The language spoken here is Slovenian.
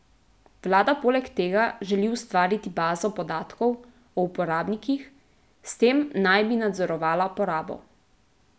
Vlada poleg tega želi ustvariti bazo podatkov o uporabnikih, s tem naj bi nadzorovala porabo.